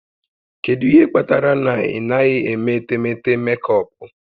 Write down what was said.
Kedu ihe kpatara na ị naghị eme etemeete mekọpụ?